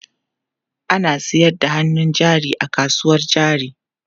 Ana sayar da hannun jari a kasuwar jari.